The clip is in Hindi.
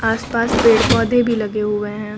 आस पास पेड़ पौधे भी लगे हुए हैं।